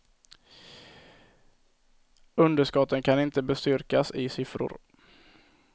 Underskotten kan inte bestyrkas i siffror.